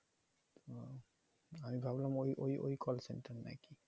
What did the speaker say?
ও আমি ভাবলাম ওই ওই ওই call center নাকি